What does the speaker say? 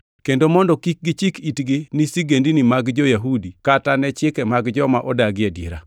kendo mondo kik gichik itgi ni sigendini mag jo-Yahudi kata ni chike mag joma odagi adiera.